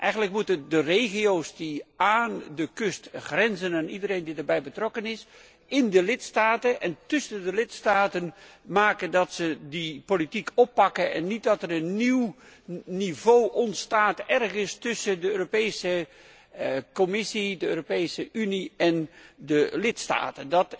Eigenlijk moeten de regio's die aan de kust grenzen, en iedereen die erbij betrokken is in de lidstaten en tussen de lidstaten, dat beleid oppakken en voorkomen dat er een nieuw niveau ontstaat ergens tussen de Europese Commissie, de Europese Unie en de lidstaten.